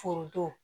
Foronto